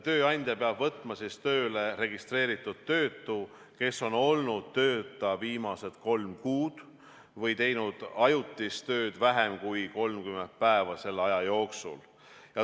Tööandja peab võtma tööle registreeritud töötu, kes on olnud tööta viimased kolm kuud või teinud ajutist tööd vähem kui 30 päeva selle aja jooksul.